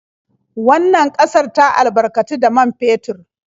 Wannan ƙasar ta albarkatu da man fetur.